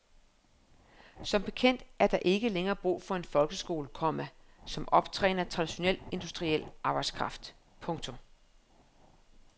Som bekendt er der ikke længere brug for en folkeskole, komma som optræner traditionel industriel arbejdskraft. punktum